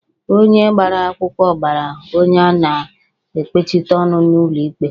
Onye gbara akwụkwọ gbara onye a na-ekpechite ọnụ n'ụlọ ikpe